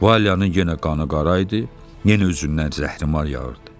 Valyanın yenə qanı qara idi, yenə özündən zəhrimar yağırdı.